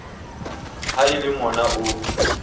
ha e le mona o